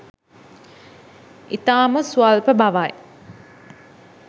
ඉතාම ස්වල්ප බවයි.